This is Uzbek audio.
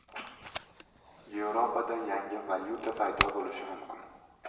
Yevropada yangi valyuta paydo bo‘lishi mumkin.